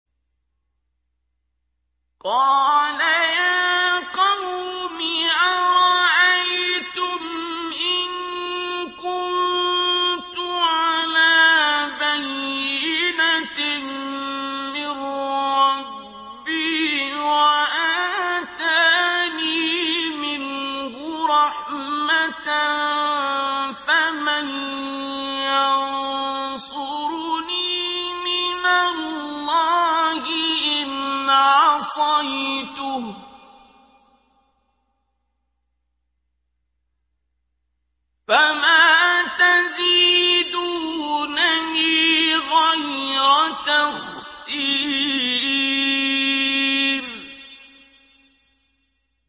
قَالَ يَا قَوْمِ أَرَأَيْتُمْ إِن كُنتُ عَلَىٰ بَيِّنَةٍ مِّن رَّبِّي وَآتَانِي مِنْهُ رَحْمَةً فَمَن يَنصُرُنِي مِنَ اللَّهِ إِنْ عَصَيْتُهُ ۖ فَمَا تَزِيدُونَنِي غَيْرَ تَخْسِيرٍ